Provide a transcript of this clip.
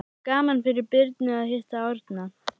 Það er gaman fyrir Birnu að hitta Árna.